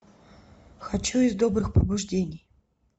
хочу из добрых побуждений